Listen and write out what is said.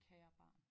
Kære barn